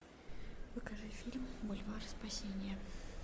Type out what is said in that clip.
покажи фильм бульвар спасения